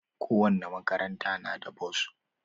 Kowane makaranta na da bos.